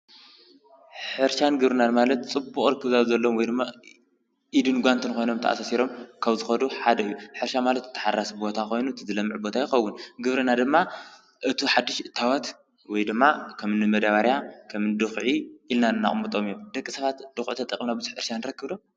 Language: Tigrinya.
ሕርሻን ግብርናን ማለት ፅቡቕ ርክብ ዘለዎም ወይድማ ኢድን ጓንትን ኮይኖም ተኣሳሲሮም ካብ ዝኸዱ ሓደ እዩ፡፡ ሕርሻ ማለት ተሓራሲ ቦታ ኮይኑ እቲ ዝለመዐ ቦታ ይኸውን፡፡ ግብርና ድማ እቲ ሓዱሽ እታወት ወይ ድማ ከምኒ መዳበርያ ፣ ድኽዒ ኢልና ነቕጦም እዩ፡፡ ደቂ ሰባት ድኹዒ ተጠቒምና ብዙሕ እኽሊ ንረክብ ዶ?